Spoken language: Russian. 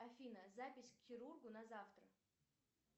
афина запись к хирургу на завтра